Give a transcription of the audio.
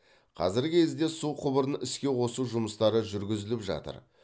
қазіргі кезде су құбырын іске қосу жұмыстары жүргізіліп жатыр